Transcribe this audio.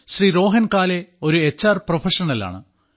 ശ്രീ രോഹൻ കാലേ ഒരു H R പ്രൊഫഷണലാണ്